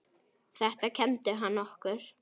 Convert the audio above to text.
Þetta kenndi hann okkur.